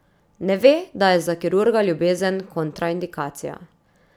Ne ve, da je za kirurga ljubezen kontraindikacija.